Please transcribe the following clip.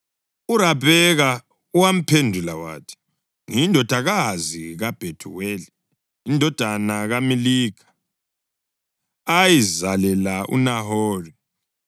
URabheka wamphendula wathi, “Ngiyindodakazi kaBhethuweli, indodana kaMilikha ayizalela uNahori.”